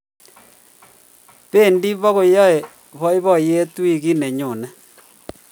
bendi bukoyae boiboyet wikit neyone